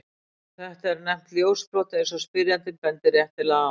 Þetta er nefnt ljósbrot, eins og spyrjandi bendir réttilega á.